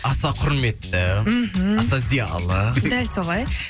аса құрметті мхм аса зиялы дәл солай